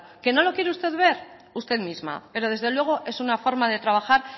que no lo quiere usted ver usted misma pero desde luego es una forma de trabajar